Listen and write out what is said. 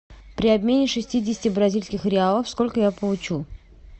при обмене шестидесяти бразильских реалов сколько я получу